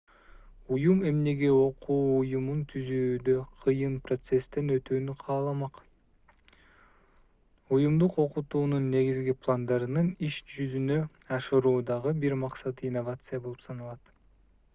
уюм эмнеге окуу уюмун түзүүдө кыйын процесстен өтүүнү кааламак уюмдук окутуунун негизги пландарын иш жүзүнө ашыруудагы бир максаты инновация болуп саналат